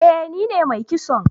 Eh ni ne mai kison